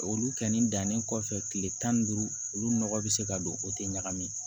Olu kɔni dannen kɔfɛ kile tan ni duuru olu nɔgɔ bi se ka don o te ɲagami